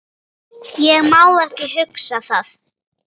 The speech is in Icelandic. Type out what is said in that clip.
Ég má ekki hugsa það.